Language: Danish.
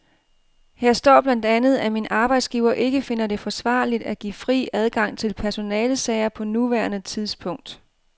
Her står blandt andet, at min arbejdsgiver ikke finder det forsvarligt at give fri adgang til personalesager på nuværende tidspunkt.